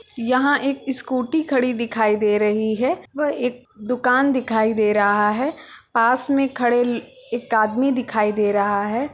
यहाँ एक स्कूटी खड़ी दिखाई दे रही है व एक दुकान दिखाई दे रहा है पास में खड़े ल-एक आदमी दिखाई दे रहा है।